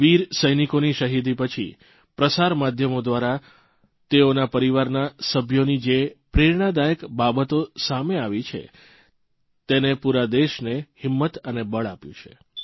વીર સૈનિકોની શહીદી પછી પ્રસાર માધ્યમો દ્વારા તેઓના પરિવારના સભ્યોની જે પ્રેરણાદાયક બાબતો સામે આવી છે તેને પૂરા દેશને હિંમત અને બળ આપ્યું છે